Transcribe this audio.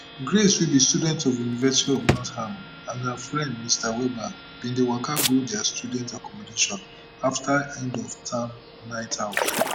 grace wey be student of university of nottingham and her friend mr webber bin dey waka go dia student accommodation afta end of term nightout